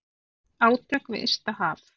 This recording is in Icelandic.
Átök við ysta haf.